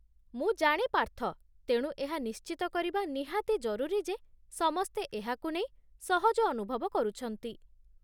ମୁଁ ଜାଣେ ପାର୍ଥ, ତେଣୁ ଏହା ନିଶ୍ଚିତ କରିବା ନିହାତି ଜରୁରୀ ଯେ ସମସ୍ତେ ଏହାକୁ ନେଇ ସହଜ ଅନୁଭବ କରୁଛନ୍ତି।